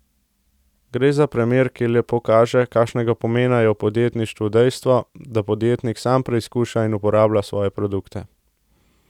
Gre za primer, ki lepo kaže, kakšnega pomena je v podjetništvu dejstvo, da podjetnik sam preizkuša in uporablja svoje produkte.